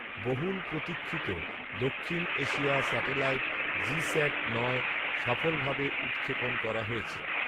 বহুল প্রতীক্ষিত দক্ষিণ এশিয়া স্যাটেলাইট 'জিস্যাট নয়' সফলভাবে উৎক্ষেপণ করা হয়েছে